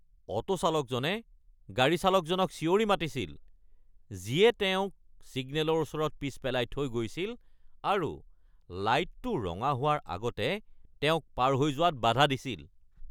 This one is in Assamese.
অ’টো চালকজনে গাড়ী চালকজনক চিঞৰি মাতিছিল যিয়ে তেওঁক ছিগনেলৰ ওচৰত পিছ পেলাই থৈ গৈছিল আৰু লাইটটো ৰঙা হোৱাৰ আগতে তেওঁক পাৰ হৈ যোৱাত বাধা দিছিল।